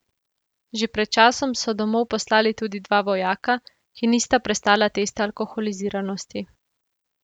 Že pred časom so domov poslali tudi dva vojaka, ki nista prestala testa alkoholiziranosti.